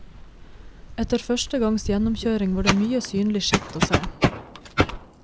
Etter første gangs gjennomkjøring var det mye synlig skitt å se.